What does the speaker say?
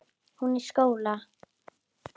Hún í skóla.